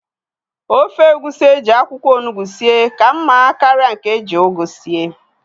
Ofe egusi eji akwụkwọ ọnụgbu sie ka mma karịa nke eji ugu sie